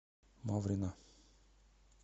маврина